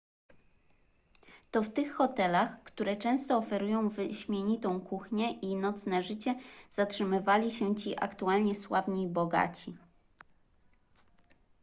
to w tych hotelach które często oferują wyśmienitą kuchnię i nocne życie zatrzymywali się ci aktualnie sławni i bogaci